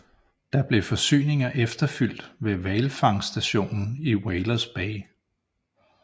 Der blev forsyninger efterfylt ved hvalfangststationen i Whalers Bay